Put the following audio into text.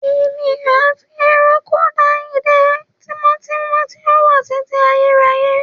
Èèyàn àti ẹranko dá ìdè tímọ́tímọ́ tí ó wà títí ayérayé